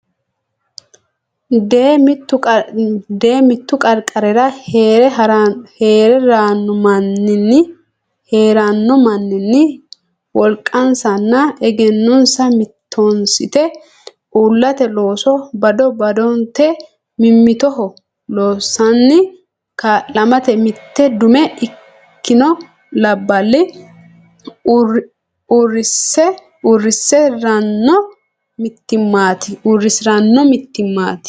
Dee mittu qarqarira hee ranno manni wolqansanna egennonsa mittoonsite uullate looso bado badote mimmitoho loossanni ka lamate mitte dume ikkino labballi uurrisi ranno mittimmaati.